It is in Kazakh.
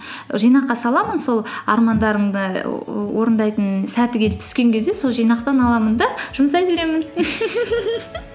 жинаққа саламын сол армандарымды орындайтын сәті келіп түскен кезде сол жинақтан аламын да жұмсай беремін